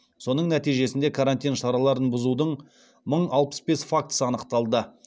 соның нәтижесінде карантин шараларын бұзудың мың алпыс бес фактісі анықталды